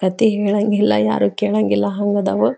ಕಥೆ ಹೇಳಗಿಲ್ಲಾ ಯಾರು ಕೆಳಗಿಲ್ಲಾ ಹಂಗದವು.